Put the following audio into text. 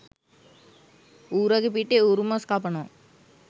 ඌරගේ පිටේ ඌරුමස් කපනවා